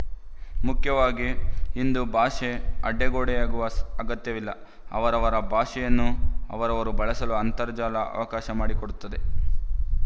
ಮುಖ್ಯವಾಗಿ ಇಂದು ಭಾಷೆ ಅಡ್ಡಗೋಡೆಯಾಗುವ ಅಗತ್ಯವಿಲ್ಲ ಅವರವರ ಭಾಷೆಯನ್ನು ಅವರವರು ಬಳಸಲು ಅಂತರ್ಜಾಲ ಅವಕಾಶ ಮಾಡಿಕೊಡುತ್ತದೆ